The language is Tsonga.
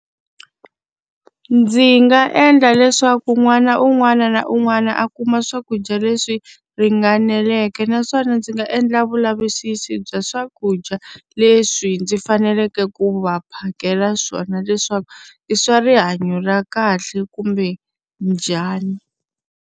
Ndzi nga endla leswaku n'wana un'wana na un'wana a kuma swakudya leswi ringaneleke naswona ndzi nga endla vulavisisi bya swakudya leswi ndzi faneleke ku va phakela swona, leswaku i swa rihanyo ra kahle kumbe njhani.